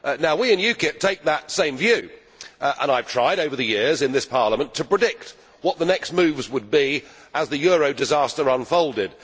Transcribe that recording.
We in UKIP take that same view, and I have tried over the years in this Parliament to predict what the next moves would be as the euro disaster unfolded.